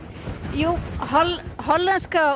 jú hollenska